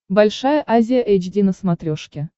большая азия эйч ди на смотрешке